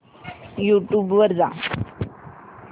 YouTube वर जा